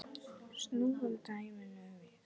Snúum dæminu við.